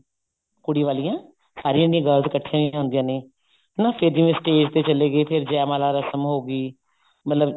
ਕੁੜੀ ਵਾਲੀਆਂ ਸਾਰਿਆਂ ਜਿਹੜੀਆਂ girls ਇੱਕਠੇ ਹੁੰਦੀਆਂ ਨੇ ਹਨਾ ਫੇਰ ਜਿਵੇਂ stag ਤੇ ਚਲੇ ਗਏ ਜੈ ਮਾਲਾ ਰਸਮ ਹੋ ਗਈ ਮਤਲਬ